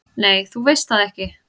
"""Nei, þú veist það ekki."""